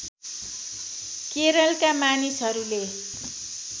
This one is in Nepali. केरलका मानिसहरूले